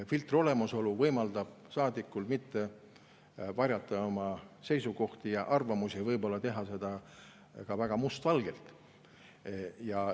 Filtri olemasolu võimaldab saadikul mitte varjata oma seisukohti ja arvamusi, võib-olla ka mustvalgelt.